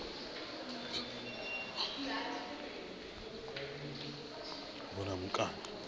vhulamukanyi